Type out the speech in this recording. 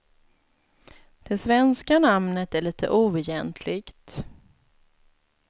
Det svenska namnet är litet oegentligt.